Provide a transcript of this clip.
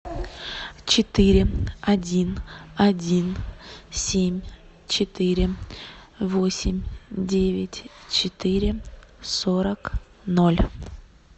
четыре один один семь четыре восемь девять четыре сорок ноль